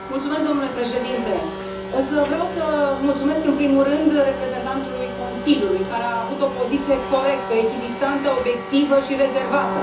Domnule președinte, o să vreau să mulțumesc, în primul rând, reprezentantului Consiliului, care a avut o poziție corectă, echidistantă, obiectivă și rezervată.